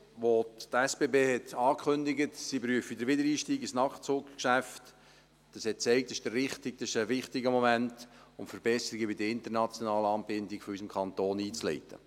Als die SBB ankündigten, sie prüften den Wiedereinstieg ins Nachtzuggeschäft, zeigte uns das, dass dies ein wichtiger Moment war, um Verbesserungen bei den internationalen Anbindungen unseres Kantons einzuleiten.